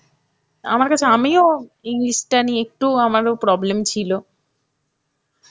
আমার কাছে আমিও English টা নিয়ে একটু আমারো problem ছিল.